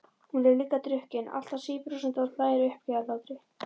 Hún er líka drukkin, alltaf síbrosandi og hlær uppgerðarhlátri.